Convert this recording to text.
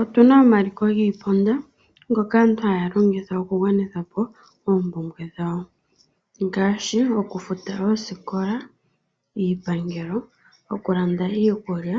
Otu na omaliko giipuna ngoka aantu haya longitha oku gwanitha po oompumbwe dhawo. Ngaashi oku futa oosikola, iipangelo, okulanda iikulya,